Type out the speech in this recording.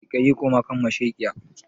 Kaiƙayi koma kan masheƙiya